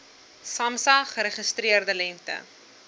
samsa geregistreerde lengte